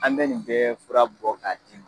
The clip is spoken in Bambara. An bɛ nin bɛ fura bɔ k'a d'i ma.